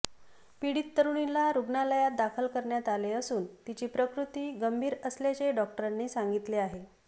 पिडीत तरुणीला रुग्णालयात दाखल करण्यात आले असून तिची प्रकृती गंभीर असल्याचे डॉक्टरांनी सांगितले आहे